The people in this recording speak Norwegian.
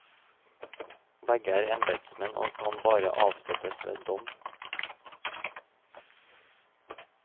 Begge er embedsmenn, og kan bare avsettes ved dom.